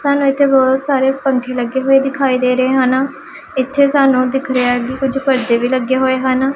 ਸਾਨੂੰ ਇੱਥੇ ਬਹੁਤ ਸਾਰੇ ਪੰਖੇ ਲੱਗੇ ਹੋਏ ਦਿਖਾਈ ਦੇ ਰਹੇ ਹਨ ਇੱਥੇ ਸਾਨੂੰ ਦਿਖ ਰਿਹਾ ਕਿ ਕੁਝ ਪਰਦੇ ਵੀ ਲੱਗੇ ਹੋਏ ਹਨ।